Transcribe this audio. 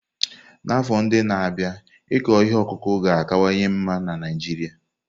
N'afọ ndị na-abịa, ịkụ ihe ọkụkụ ga-akawanye mma na Naijiria.